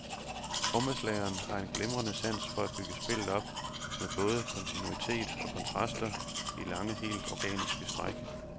Trommeslageren har en glimrende sans for at bygge spillet op med både kontinuitet og kontraster i lange, helt organiske stræk.